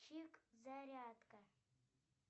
чик зарядка